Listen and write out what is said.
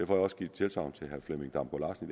jeg også givet tilsagn til herre flemming damgaard larsen